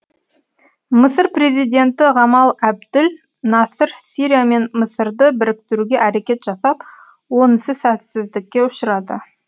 мысыр президенті ғамал әбділ насыр сирия мен мысырды біріктіруге әрекет жасап онысы сәтсіздікке ұшырады